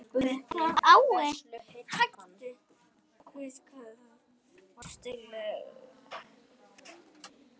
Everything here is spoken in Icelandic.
Guð hvað þú varst dugleg.